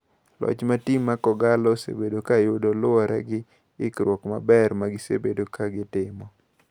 Loch ma tim ma kogallo osebedo ka yudo luowore gi ikruok maber ma gi sebedo ka gi timo.